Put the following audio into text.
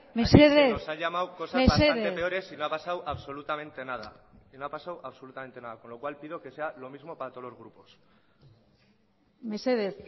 mesedez nos ha llamado cosas peores y no ha pasado absolutamente nada con lo cual pido que sea lo mismo para todos los grupos mesedez